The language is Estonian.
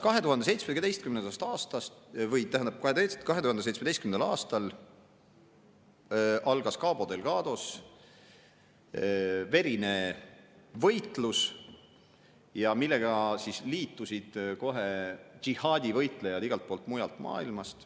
2017. aastal algas Cabo Delgados verine võitlus, millega liitusid kohe džihaadivõitlejad igalt poolt mujalt maailmast.